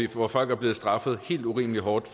hvor folk er blevet straffet helt urimelig hårdt